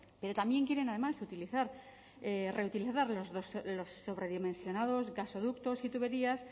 pero también quieren además reutilizarlos los sobredimensionados gasoductos y tuberías